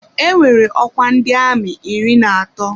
Enwere ọkwa ndị amị iri na atọ.